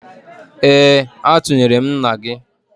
Ee, atụnyere m nna gị